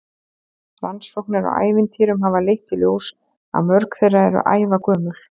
Rannsóknir á ævintýrum hafa leitt í ljós að mörg þeirra eru ævagömul.